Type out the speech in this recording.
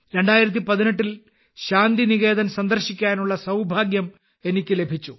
2018 ൽ ശാന്തിനികേതൻ സന്ദർശിക്കാനുള്ള സൌഭാഗ്യം എനിക്ക് ലഭിച്ചു